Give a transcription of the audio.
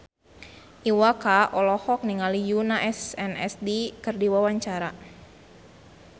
Iwa K olohok ningali Yoona SNSD keur diwawancara